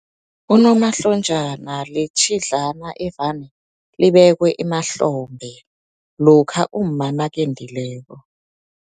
Unomahlonjana litjhidlana evane libekwe emahlombe, lokha umma nakendileko.